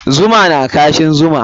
Zuma na kashin zuma.